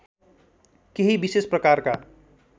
केही विशेष प्रकारका